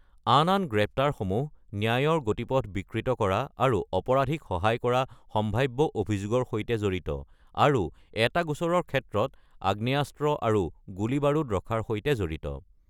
আন আন গ্ৰেপ্তাৰসমূহ ন্যায়ৰ গতিপথ বিকৃত কৰা আৰু অপৰাধীক সহায় কৰাৰ সম্ভাৱ্য অভিযোগৰ সৈতে জড়িত, আৰু এটা গোচৰৰ ক্ষেত্ৰত আগ্নেয়াস্ত্ৰ আৰু গুলি-বাৰুদ ৰখাৰ সৈতে জড়িত।